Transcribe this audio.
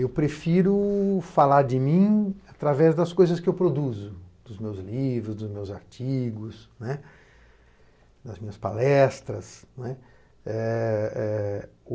Eu prefiro falar de mim através das coisas que eu produzo, dos meus livros, dos meus artigos, das minhas palestras.